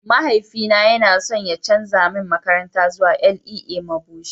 mahaifi yana so ya canza min makaranta zuwa LEA Mabushi